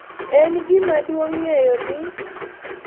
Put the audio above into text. En gima duong’ ng’eyo ni